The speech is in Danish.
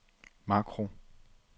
makro